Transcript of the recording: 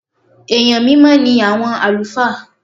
Èèyàn mímọ́ ní àwọn àlùfáà.